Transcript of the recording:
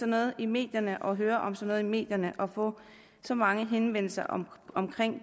noget i medierne og høre om sådan noget i medierne og få så mange henvendelser om